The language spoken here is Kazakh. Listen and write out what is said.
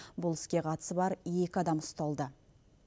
бұл іске қатысы бар екі адам ұсталды